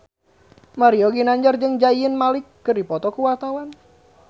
Mario Ginanjar jeung Zayn Malik keur dipoto ku wartawan